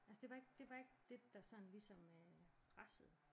Altså det var ikke det var ikke dét der sådan ligesom pressede